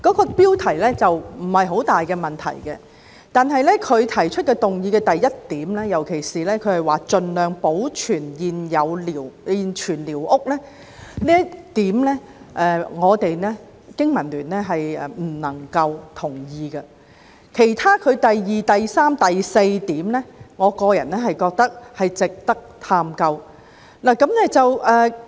這標題沒有太大問題，但議案中第一點，尤其是提出"盡量保留現存寮屋"這一點，我們香港經濟民生聯盟不能同意；至於第二、三及四點，我個人認為值得探究。